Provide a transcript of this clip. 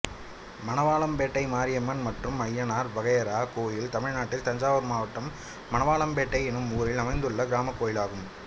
மணவாளம்பேட்டை மாரியம்மன் மற்றும் அய்யனார் வகையறா கோயில் தமிழ்நாட்டில் தஞ்சாவூர் மாவட்டம் மணவாளம்பேட்டை என்னும் ஊரில் அமைந்துள்ள கிராமக் கோயிலாகும்